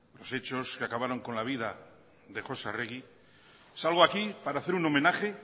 los hechos que acabaron con la vida de josé arregui salgo aquí para hacer un homenaje